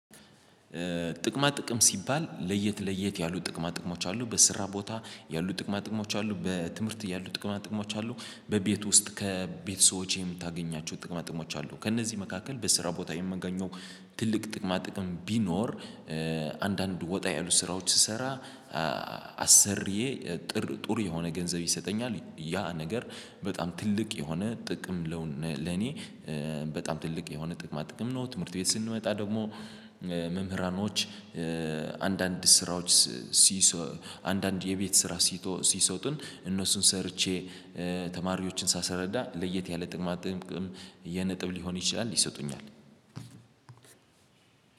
ጥቅማ ጥቅም ሲባል ለየት ለየት ያሉ ጥቅማ ጥቅሞች አሉ በስራ ቦታ ያሉ ጥቅማ ጥቅሞች አሉ በትምህርት ያሉ ጥቅማ ጥቅሞች አሉ። በቤት ውስጥ ከቤት ሰዎች የምታገኛቸው ጥቅማ ጥቅሞች አሉ ከእነዚህ መካከል በስራ ቦታ የምገኘው ትልቅ ጥቅማ ጥቅም ቢኖር አንዳንድ ወጣ ያሉ ስራዎች ስሰራ አሰርዬ ጥር ጥሩ የሆነ ገንዘብ ይሰጠኛል ያ ነገር በጣም ትልቅ የሆነ ጥቅም ለኔ በጣም ትልቅ የሆነ ጥቅማ ጥቅም ነው። ትምህርት ቤት ስንመጣ ደግሞ መምህራኖች አንዳንድ ስራዎች ሲሰሩ አንዳንድ የቤት ስራ ሲሰጡን እነሱን ሰርቼ ተማሪዎችን ሳስረዳ ለየት ያለ ጥቅማ ጥቅም የነጥብ ሊሆን ይችላል ይሰጡኛል።